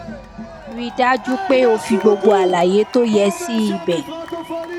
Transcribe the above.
ri dajupe o fi gbogbo alaye to ye si ibe